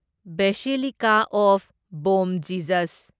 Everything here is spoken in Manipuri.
basilica of Bom Jesus